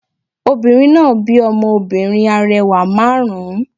Obìnrin náà bí ọmọ obìnrin arẹwà márùn ún